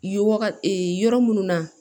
Ye waga yɔrɔ munnu na